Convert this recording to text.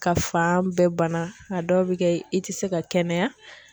Ka fan bɛɛ bana a dɔw bI kɛ i tɛ se ka kɛnɛya.